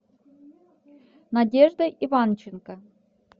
надеждой иванченко